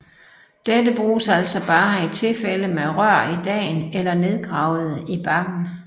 Dette bruges altså bare i tilfælde med rør i dagen eller nedgravede i bakken